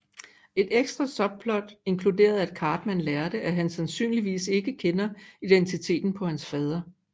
Et ekstra subplot inkluderede at Cartman lærte at han sandsynligvis ikke kender identiteten på hans fader